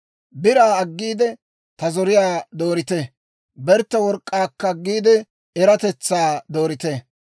«Biraa aggiide, ta zoriyaa doorite; bertte work'k'aakka aggiide, eratetsaa doorite.